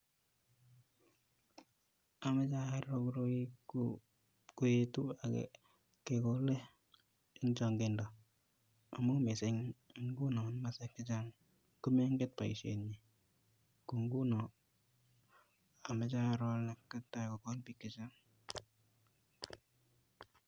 Amoche aroo koroi koyetu ak kegole en chong'indo amun en inguni komoswek chechang komeng'en boishenyin, ko ng'unon amoche aroo olee katesta kogol biik chechang.